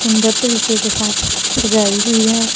सुंदर तरीके के साथ सजाई हुई है।